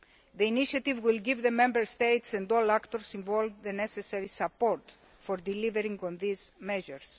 The initiative will give the Member States and all the actors involved the necessary support for delivering on the measures.